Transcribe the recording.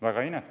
Väga inetu.